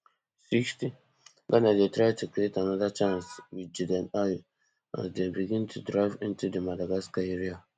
sixtyghana dey try to create anoda chance wit jordan ayew as dem begin to drive into di madagascar area